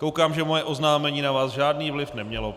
Koukám, že moje oznámení na vás žádný vliv nemělo.